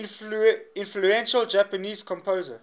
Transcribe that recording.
influential japanese composer